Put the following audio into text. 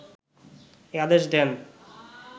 এ আদেশ দেন